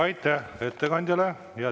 Aitäh ettekandjale!